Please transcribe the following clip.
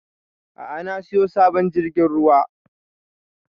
A'a na siyo sabon jirgin ruwa